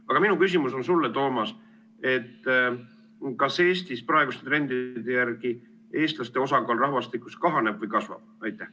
Aga minu küsimus on sulle, Toomas, et kas Eestis praeguste trendide järgi eestlaste osakaal rahvastikus kahaneb või kasvab.